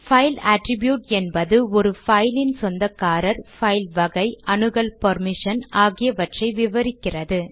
file attribute என்பது ஒரு பைலின் சொந்தக்காரர் பைல் வகை அணுகல் பெர்மிஷன் போன்றவற்றை விவரிக்கிறது